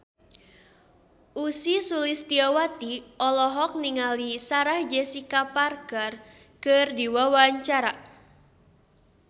Ussy Sulistyawati olohok ningali Sarah Jessica Parker keur diwawancara